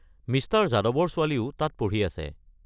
Mister যাদৱৰ ছোৱালীও তাত পঢ়ি আছে।